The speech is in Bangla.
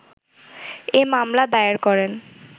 এ মামলা দায়ের করেন।